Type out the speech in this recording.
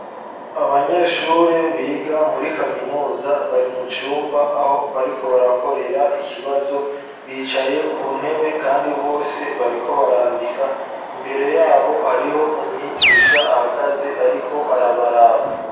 abanyeshure biga muri kaminuza bari mucumba aho bariko barakorera ikibazo bicaye ku ntebe kandi bose bariko barandika imbere yabo hariho umwigisha ahagaze ariko arabaraba.